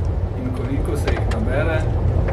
In koliko se jih nabere?